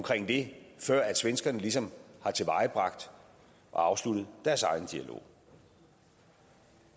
det før svenskerne ligesom har tilvejebragt og afsluttet deres egen dialog